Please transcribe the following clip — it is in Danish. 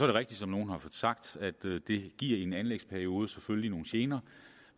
det rigtigt som nogle har sagt at det det i en anlægsperiode selvfølgelig giver nogle gener